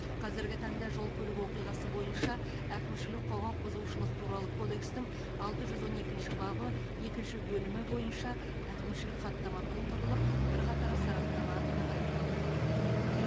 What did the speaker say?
қазіргі таңда жол көлік оқиғасы бойынша әкімшілік құқық бұзушылық туралы кодекстің алты жүз он екінші бабы екінші бөлімі бойынша әкімшілік хаттама толтырылып бірқатар сараптама тағайындалды